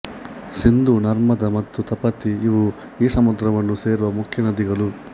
ಸಿಂಧು ನರ್ಮದಾ ಮತ್ತು ತಪತಿ ಇವು ಈ ಸಮುದ್ರವನ್ನು ಸೇರುವ ಮುಖ್ಯ ನದಿಗಳು